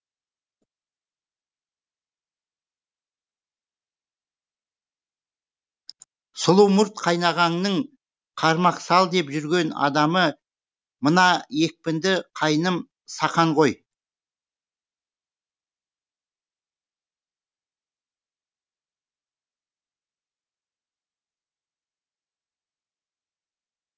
сұлу мұрт қайнағаңның қармақ сал деп жүрген адамы мына екпінді қайным сақан ғой